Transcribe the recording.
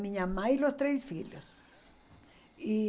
Minha mãe e os três filhos. E